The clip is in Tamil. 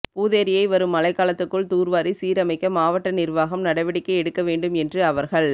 பூதேரியை வரும் மழைக்காலத்துக்குள் தூா்வாரி சீரமைக்க மாவட்ட நிா்வாகம் நடவடிக்கை எடுக்க வேண்டும் என்று அவா்கள்